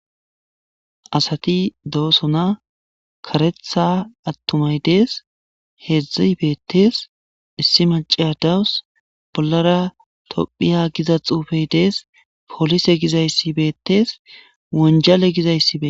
asati doosona karetha attumay dees heedzdzi beettees issi maceya dawus bollara tophiya giza xuufey dees polise gizayssi beetees wonjale gizayssi beettes